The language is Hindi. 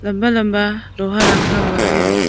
लंबा लंबा लोहा रखा हुआ है।